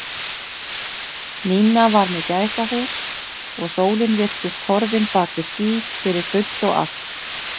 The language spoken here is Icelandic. Nína var með gæsahúð og sólin virtist horfin bak við ský fyrir fullt og allt.